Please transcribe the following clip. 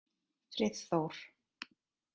Friðþór